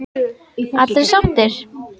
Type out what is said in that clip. Allir sáttir?